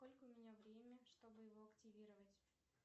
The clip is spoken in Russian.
сколько у меня время чтобы его активировать